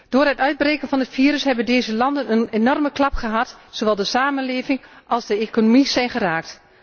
Door het uitbreken van het virus hebben deze landen een enorme klap gekregen, zowel de samenleving als de economie zijn geraakt.